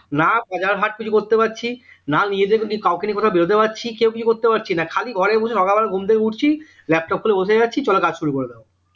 না বাজার হাট কিছু করতে পারছি না নিজেদেরকে কাউকে নিয়ে কোথাও বেরোতে পারছি কেউ কিছু করতে পারছি না খালি ঘরে বসে সকালবেলা ঘুম থেকে উঠছি laptop খুলে বসে যাচ্ছি চলো কাজ শুরু করে দাও